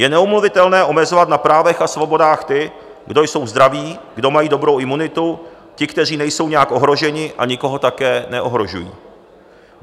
Je neomluvitelné omezovat na právech a svobodách ty, kdo jsou zdraví, kdo mají dobrou imunitu, ty, kteří nejsou nijak ohroženi a nikoho také neohrožují.